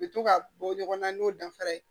U bɛ to ka bɔ ɲɔgɔn na n'o danfara ye